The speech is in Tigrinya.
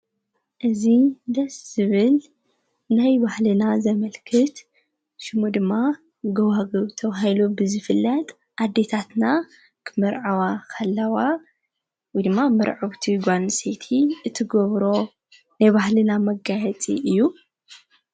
እዙ ደስ ዝብል ናይ ባሕልና ዘመልክት ሽሙ ድማ ገዋግብ ተባሂሉ ዝፍላጥ ኣዲታትና ኽምርዓዋ ካለዋ ድማ ምርዓው ቲ ጓል አንስተይቲ እቲጐብሮ ናይባህሊና መጋየትጽ እዩ::